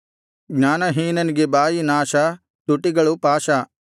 ಜ್ಞಾನಹೀನನಿಗೆ ಬಾಯಿ ನಾಶ ತುಟಿಗಳು ಪಾಶ